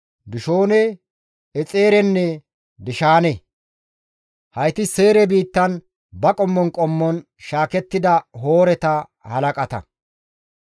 Dishoone, Exeerenne Dishaane. Hayti Seyre biittan ba qommon qommon shaakettida Hooreta halaqata.